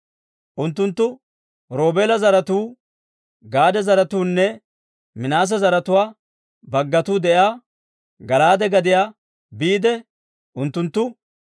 Unttunttu Roobeela zaratuu, Gaade zaratuunne Minaase zaratuwaappe baggatuu de'iyaa Gala'aade gadiyaa biide unttuntta,